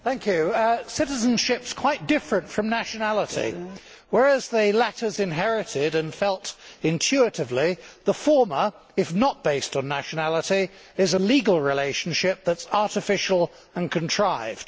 Mr President, citizenship is quite different from nationality. Whereas the latter is inherited and felt intuitively, the former, if not based on nationality, is a legal relationship which is artificial and contrived.